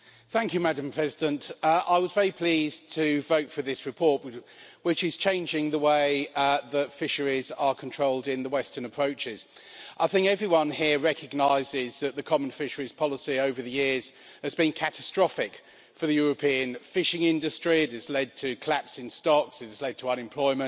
Madam President, I was very pleased to vote for this report which is changing the way that fisheries are controlled in the Western Approaches. I think everyone here recognises the common fisheries policy over the years has been catastrophic for the European fishing industry, it has led to a collapse in stocks, it has led to unemployment,